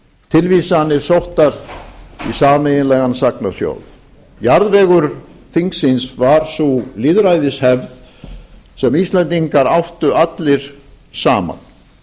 tilvísanir sóttar í sameiginlegan sagnasjóð jarðvegur þingsins var sú lýðræðishefð sem íslendingar áttu allir saman